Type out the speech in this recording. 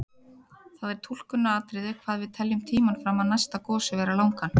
Það er túlkunaratriði hvað við teljum tímann fram að næsta gosi vera langan.